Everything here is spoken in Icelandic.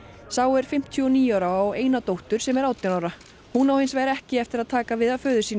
sá er fimmtíu og níu ára og á eina dóttur sem er átján ára hún á hins vegar ekki eftir að taka við af föður sínum